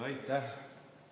Aitäh!